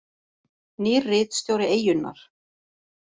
Nýr ritstjóri Eyjunnar